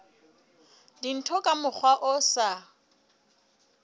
dintho ka mokgwa o sa